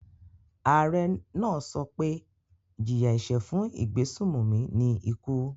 Ààrẹ náà sọ pé ìjìyà-ẹ̀ṣẹ̀ fún ìgbésùnmòmí ni ikú.